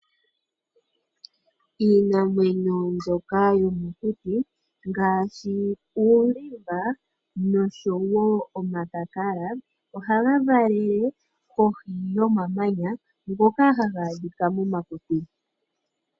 Iinamwenyo mbyoka yomokuti ngaashi uulimba noshowo omakakala ohaga valele kohi yomamanya, ngoka haga adhika momakuti.